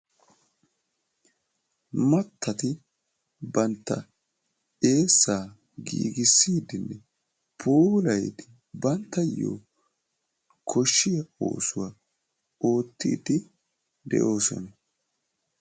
Mattati bantta eessa giigissi uttidoosona, puulay banttayo koshshiya oosuwa oottidi de'oosona.